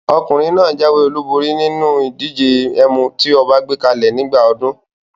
Ọkùnrin náà jáwé olúborí ní inú ìdíje ẹ̀mù tí ọba gbé kalẹ̀ nígbà ọdún.